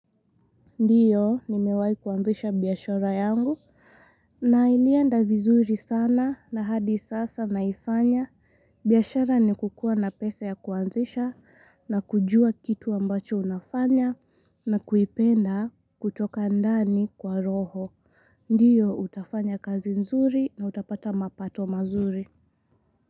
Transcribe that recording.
Ndio, nimewai kuanzisha biashara yangu. Na ilienda vizuri sana na hadi sasa naifanya. Biashqra ni kukua na pesa ya kuanzisha na kujua kitu ambacho unafanya na kuipenda kutoka ndani kwa roho. Ndiyo, utafanya kazi nzuri na utapata mapato mazuri.